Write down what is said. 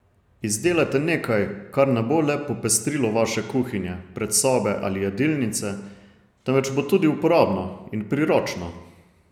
Izdelajte nekaj, kar ne bo le popestrilo vaše kuhinje, predsobe ali jedilnice, temveč bo tudi uporabno in priročno.